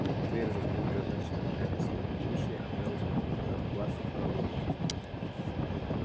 твер заткнул дрожащими руками свои уши а мэллоу спокойно спрятал бластер в кобуру